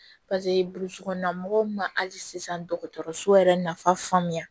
burusi kɔnɔna mɔgɔw ma hali sisan dɔgɔtɔrɔso yɛrɛ nafa faamuya